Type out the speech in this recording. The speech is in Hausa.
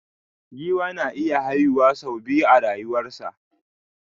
Giwa na iya haihuwa su biya a rayuwa sa.